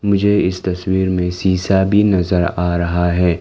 मुझे इस तस्वीर में शिशा भी नजर आ रहा है।